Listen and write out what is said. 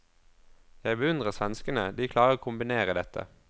Jeg beundrer svenskene, de klarer å kombinere dette.